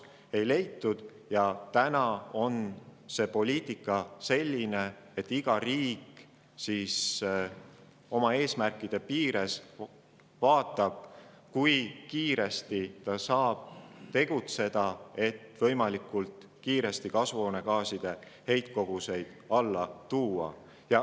Täna on poliitika selline, et iga riik vaatab oma eesmärkide piires, kui kiiresti ta saab tegutseda, et võimalikult kiiresti kasvuhoonegaaside heitkoguseid alla tuua.